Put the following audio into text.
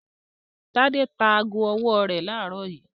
Tádé ta ago-ọwọ́ rẹ̀ láàárọ̀ yìí.